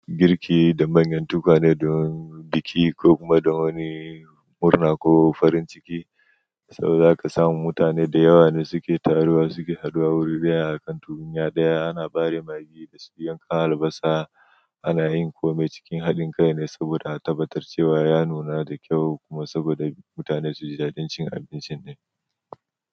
Girki da manyan tukwane don biki ko kuma don wani murna ko farin ciki, so zaka samu mutane da yawa ne suke taruwa suke haduwa wure daya a kan tukunya ɗaya ana bare magi da su yanka albasa ana yin komai cikin hadin kai ne saboda a tabbatar cewa ya nuna da kyau kuma saboda mutane zuji dadin cin abincin.